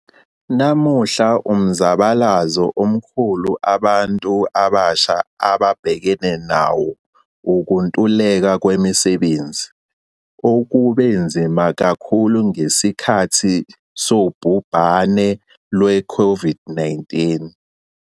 Namuhla umzabalazo omkhulu abantu abasha ababhekene nawo ukuntuleka kwemisebenzi, okube nzima kakhulu ngesikhathi sobhubhane lwe-COVID-19.